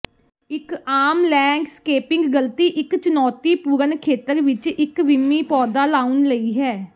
ਇੱਕ ਆਮ ਲੈਂਡਸਕੇਪਿੰਗ ਗਲਤੀ ਇੱਕ ਚੁਣੌਤੀਪੂਰਨ ਖੇਤਰ ਵਿੱਚ ਇੱਕ ਵਿੰਮੀ ਪੌਦਾ ਲਾਉਣ ਲਈ ਹੈ